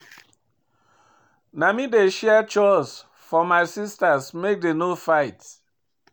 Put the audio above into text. Na me dey share chores for my sistas make dem no fight.